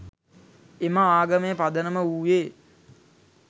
එම ආගමේ පදනම වූයේ